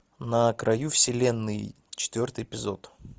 на краю вселенной четвертый эпизод